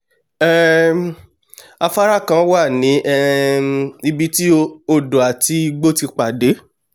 um afárá kan wà ní um ibi tí odò àti igbó ti pàdé